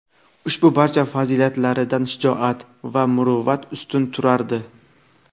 Ushbu barcha fazilatlaridan shijoat va muruvvati ustun turardi.